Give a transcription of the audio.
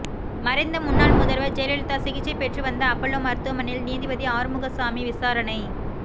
மறைந்த முன்னாள் முதல்வர் ஜெயலலிதா சிகிச்சை பெற்றுவந்த அப்பல்லோ மருத்துவமனையில் நீதிபதி ஆறுமுகசாமி விசாரணை